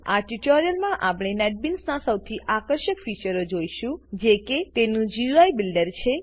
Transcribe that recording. આ ટ્યુટોરીયલમાં નેટબીન્સનાં સૌથી આકર્ષક ફીચરો જોઈશું જે કે તેનું ગુઈ બિલ્ડર છે